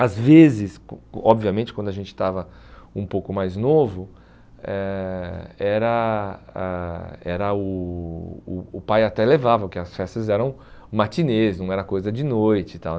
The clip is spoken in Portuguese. Às vezes, o obviamente, quando a gente estava um pouco mais novo, eh era a era o o o pai até levava, porque as festas eram matinês, não era coisa de noite e tal.